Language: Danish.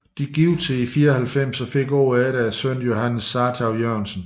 De giftede sig i 94 og fik året efter sønnen Johannes Sartou Jørgensen